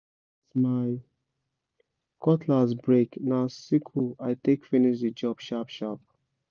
as my cutlass break na sickle i take finish the job sharp-sharp